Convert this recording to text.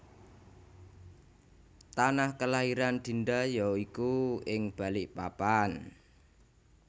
Tanah kelairan Dinda ya iku ing Balikpapan